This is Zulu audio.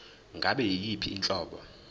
ngabe yiyiphi inhlobo